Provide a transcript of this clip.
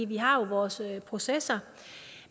vi har jo vores processer